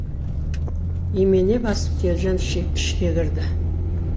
имене басып телжан ішке кірді